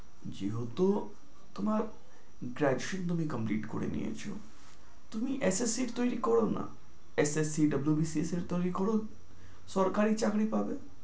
যেহেতু তোমার graduation তুমি complete করে নিয়েছো, তুমি একটা sheet তৈরী করো না, একটা sheet WBCS এর তৈরী করো, সরকারি চাকরি পাবে।